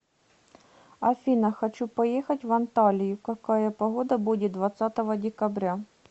афина хочу поехать в анталию какая погода будет двадцатого декабря